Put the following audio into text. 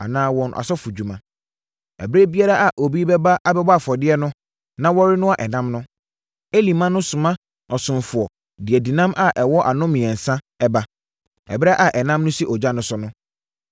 anaa wɔn asɔfodwuma. Ɛberɛ biara a obi bɛba abɛbɔ afɔdeɛ no na wɔrenoa ɛnam no, Eli mma no soma ɔsomfoɔ de adinam a ɛwɔ ano mmiɛnsa ba. Ɛberɛ a ɛnam no si ogya so no,